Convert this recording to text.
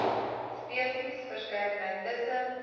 spesies verskeidenheid tussen